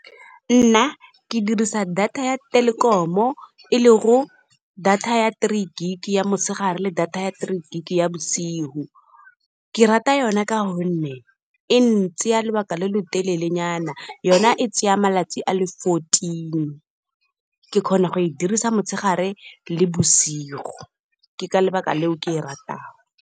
Nna ke dirisa data ya Telkom-o e le go data ya three gig ya motshegare le data ya three gig ya bosigo. Ke rata yona ka gonne e ntsaya lobaka lo lo telele nyana, yona e tsaya malatsi a le fourteen. Ke kgona go e dirisa motshegare le bosigo ke ka lebaka leo ke e ratang.